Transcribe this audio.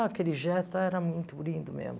Ah, aquele gesto era muito lindo mesmo.